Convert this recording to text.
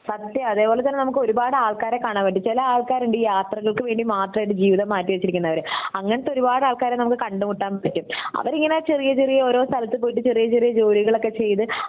സത്യം അതേപോലെ തന്നെ നമുക്ക് ഒരുപാട് ആൾക്കാരെ കാണാൻ പറ്റും ചില ആൾക്കാരുണ്ട് യാത്രകൾക്ക് വേണ്ടി മാത്രം ആയിട്ട് ജീവിതം മാറ്റിവെച്ചിരിക്കുന്നവർ അങ്ങിനത്തെ ഒരുപാട് ആൾക്കാരെ നമുക് കണ്ടുമുട്ടാം പറ്റും അവരിങ്ങനെ ചെറിയ ചെറിയ ഓരോ സ്ഥലത്ത് പോയിട്ട് ചെറിയ ചെറിയ ജോലികളൊക്കെ ചെയ്ത്